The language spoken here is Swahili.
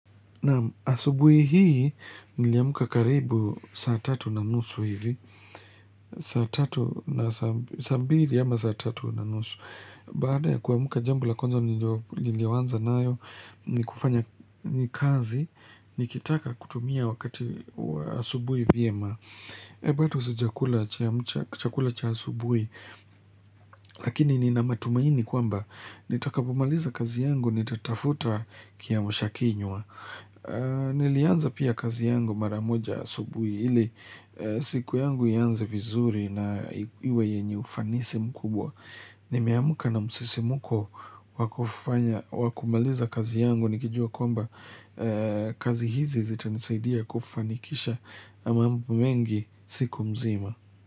Na'am, asubuhi hii niliamka karibu saa tatu na nusu hivi, saa tatu na saa, saa mbili ama saa tatu na nusu. Baada ya kuamka jambo la kwanza niliyoanza nayo, ni kufanya, ni kazi, nikitaka kutumia wakati wa asubuhi vyema. Bado sijakula chakula cha asubuhi, lakini nina matumaini kwamba, nitakapomaliza kazi yangu, nitatafuta kiamshakinywa. Nilianza pia kazi yangu mara moja asubuhi ili siku yangu ianze vizuri na iwe yenye ufanisi mkubwa nimeamka na msisimko wa kufanya, wa kumaliza kazi yangu nikijua kwamba kazi hizi zitanisaidia kufanikisha mambo mengi siku mzima.